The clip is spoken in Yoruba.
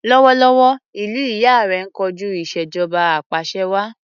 Lọ́wọ́lọ́wọ́, ìlú ìyá rẹ ń kojú ìṣèjọba apàṣẹwàá.